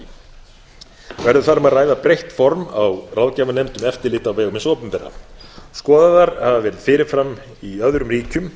þar um að ræða breytt form á ráðgjafarnefnd um eftirlit á vegum hins opinbera skoðaðar hafa verið fyrirmyndir í öðrum